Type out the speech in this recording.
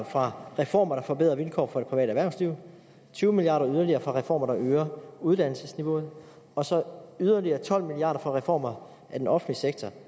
fra reformer der forbedrer vilkårene for det private erhvervsliv tyve milliard yderligere fra reformer der øger uddannelsesniveauet og så yderligere tolv milliard kroner fra reformer af den offentlige sektor